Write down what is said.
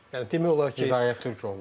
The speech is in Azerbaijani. Yəni demək olar ki, Hidayət Türkoğlu.